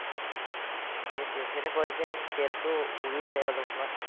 সেটোয়ে সিহতে কই যেন তেলটো উৰিও যাই অলপমান